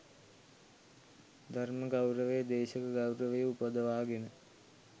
ධර්ම ගෞරවය, දේශක ගෞරවය උපදවාගෙන